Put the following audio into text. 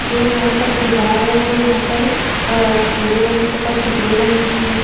जो यहाँ पर दिवार है वो यहाँ पर भूरे रंग तथा पीले रंग की है।